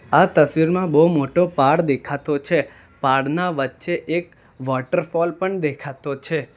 આ તસવીરમાં બહુ મોટો પાડ દેખાતો છે પાડના વચ્ચે એક વોટરફોલ પણ દેખાતો છે.